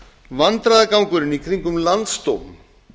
vandræðagangurinn í kringum landsdóm